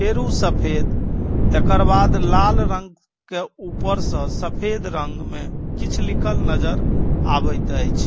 फेर ऊ सफेद तकर बाद लाल रंग के ऊपर से सफेद रंग में किछ लिखल नजर आवत एछ।